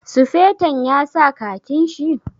Sufeton ya sa khakin shi?